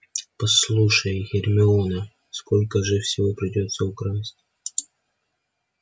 послушай гермиона сколько же всего придётся украсть